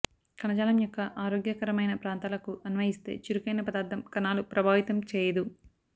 కణజాలం యొక్క ఆరోగ్యకరమైన ప్రాంతాలకు అన్వయిస్తే చురుకైన పదార్ధం కణాలు ప్రభావితం చేయదు